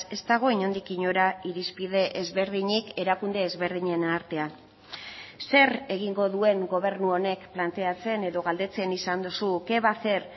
ez dago inondik inora irizpide ezberdinik erakunde ezberdinen artean zer egingo duen gobernu honek planteatzen edo galdetzen izan duzu qué va a hacer